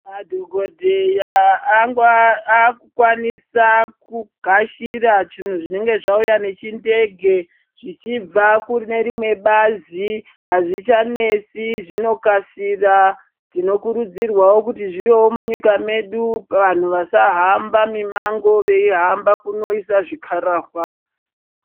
Madhokodheya aku kwanisa ku gashira zvinhu zvinenge zva uya ne chindege zvichibva kune rimwe bazi azvichanesi zvino kasira tino kurudzirwawo kuti zviwewo munyika medu vanhu vasa hamba mimango vei hamba kunoisa zvikarahwa.